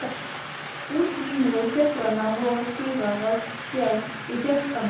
Útlínur fjallanna voru skýrar að sjá í fjarskanum.